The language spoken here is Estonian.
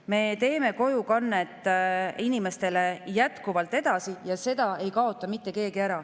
Me teeme kojukannet inimestele jätkuvalt edasi ja seda ei kaota mitte keegi ära.